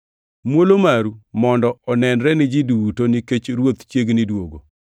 Muolo maru mondo onenre ni ji duto nikech Ruoth chiegni duogo.